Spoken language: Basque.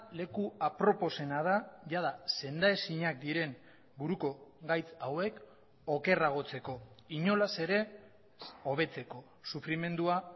leku aproposena da jada sendaezinak diren buruko gaitz hauek okerragotzeko inolaz ere hobetzeko sufrimendua